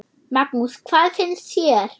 Magnús: Hvað finnst þér?